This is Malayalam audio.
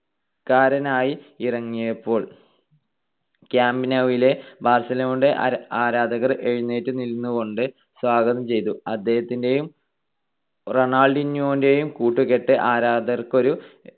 ക്കാരനായി ഇറങ്ങിയപ്പോൾ കാമ്പ് ന്യൂവിലെ ബാർസലോണയുടെ ആരാധകർ എഴുന്നേറ്റുനിന്നുകൊണ്ട് സ്വാഗതം ചെയ്തു. അദ്ദേഹത്തിന്റേയും റൊണാൾഡീന്യോവിന്റേയും കൂട്ടുകെട്ട് ആരാധകർക്കൊരു